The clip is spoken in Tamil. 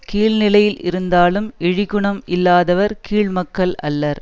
கீழ் நிலையில் இருந்தாலும் இழிகுணம் இல்லாதவர் கீழ் மக்கள் அல்லர்